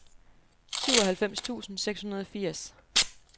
syvoghalvfems tusind seks hundrede og firs